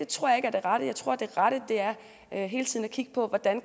tror jeg ikke er det rette jeg tror det rette er hele tiden at kigge på hvordan